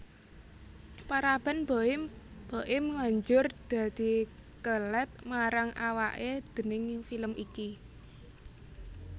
Paraban Boim banjur dadi kelèt marang awaké déning film iki